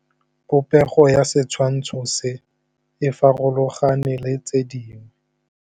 Popêgo ya setshwantshô se, e farologane le tse dingwe.